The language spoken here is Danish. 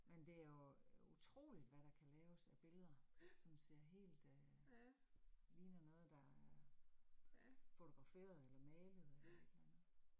Men det jo utroligt, hvad der kan laves af billeder, som ser helt øh, ligner noget, der er fotograferet eller malet eller et eller andet